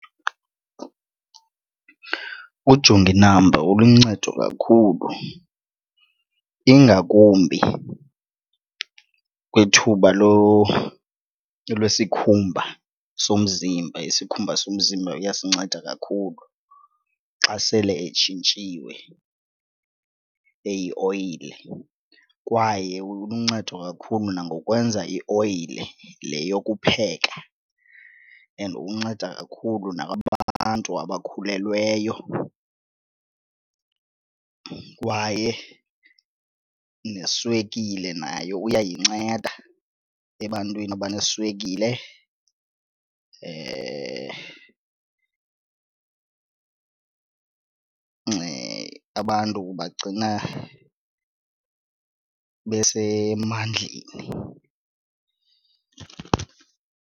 Ujonginambo uluncedo kakhulu ingakumbi kwithuba lwesikhumba somzimba, isikhumba somzimba uyasinceda kakhulu xa sele etshintshiwe eyioyile. Kwaye uluncedo kakhulu nangokwenza ioyile le yokupheka and unceda kakhulu nakubantu abakhulelweyo kwaye neswekile nayo uyayinceda ebantwini abaneswekile abantu ubagcina besemandleni.